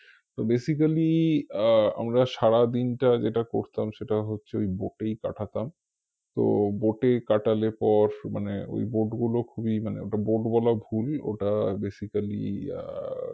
তো basically আহ আমরা সারা দিনটা যেটা করতাম সেটা হচ্ছে ওই boat এই কাটাতাম। তো boat এ কাটালে পর মানে ঐ boat গুলো খুবই মানে ওটা boat বলা ভুল ওটা basically আহ